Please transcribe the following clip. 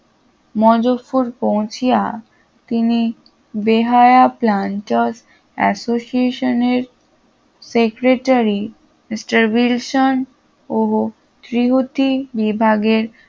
মজফরপুর পৌঁছিয়া তিনি বেহায়া প্রান্তস association এর secretary মিস্টার উইলসন ও ত্রিহুতি বিভাগের